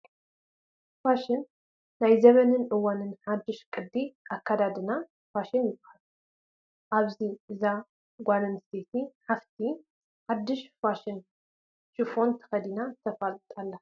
ፋሽን፡- ናይ ዘበንን እዋንን ሓዱሽ ቅዲ ኣካዳድና ፋሽን ይባሃል፡፡ ኣብዚ እታ ጓል ኣነስተይቲ ሓፍቲ ሓዱሽ ፋሽን ሽፈን ተኸዲና ተፋልጥ ኣላ፡፡